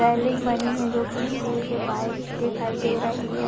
Railing बनी है जो की स्टील की पाइप की दिखाई दे रही है।